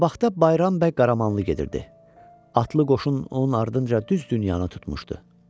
Qabaqda Bayram bəy Qaramanlı gedirdi, atlı qoşun onun ardınca düz dünyanı tutmuşdu.